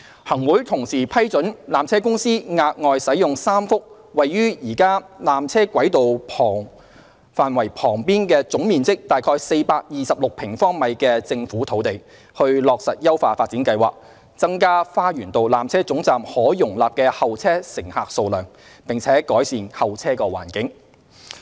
行會同時批准纜車公司額外使用3幅位於現有纜車軌道範圍旁總面積約426平方米的政府土地，以落實優化發展計劃，增加花園道纜車總站可容納的候車乘客數量，並改善候車環境。